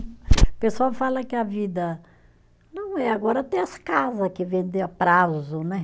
O pessoal fala que a vida não é, agora tem as casa que vende a prazo, né?